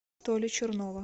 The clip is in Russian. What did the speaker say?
толи чернова